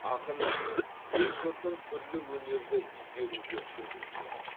ақын ел жұртын түрлі өнерді игеруге үгіттеді